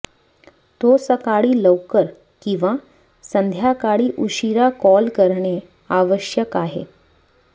तो सकाळी लवकर किंवा संध्याकाळी उशिरा कॉल करणे आवश्यक आहे